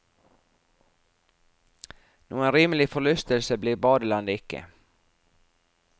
Noen rimelig forlystelse blir badelandet ikke.